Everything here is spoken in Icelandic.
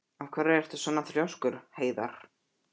Af hverju ertu svona þrjóskur, Heiðarr?